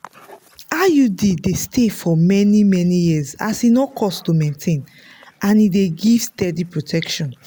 iud dey stay for many-many years as e no cost to maintain and e dey give steady protection.